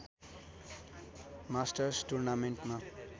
masters टुर्नामेन्टमा